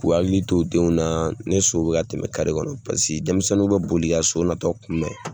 K'u hakili to o denw na, ni so bɛ ka tɛmɛ kare kɔnɔ paseke denmisɛnninw bɛ boli ka so natɔ kunbɛn